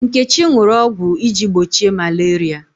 Nkechi ṅụrụ ọgwụ iji gbochie malaria.